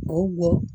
O wo